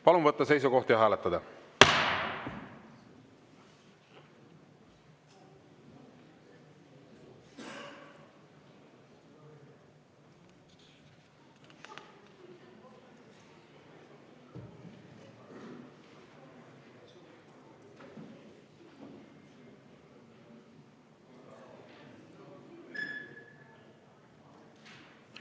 Palun võtta seisukoht ja hääletada!